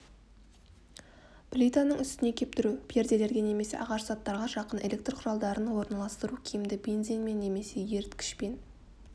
плитаның үстіне кептіру перделерге немесе ағаш заттарға жақын электр құралдарын орналастыру киімді бензинмен немесе еріткішпен